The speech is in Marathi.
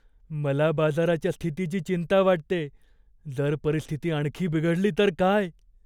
मला बाजाराच्या स्थितीची चिंता वाटतेय. जर परिस्थिती आणखी बिघडली तर काय?